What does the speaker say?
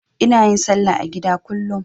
Ina yin salla a gida kullum.